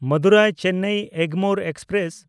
ᱢᱟᱫᱩᱨᱟᱭ–ᱪᱮᱱᱱᱟᱭ Egmore express